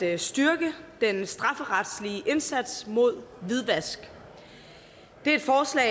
at styrke den strafferetlige indsats mod hvidvask det er et forslag